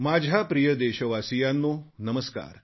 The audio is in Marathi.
माझ्या प्रिय देशवासियांनो नमस्कार